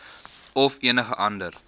of enige ander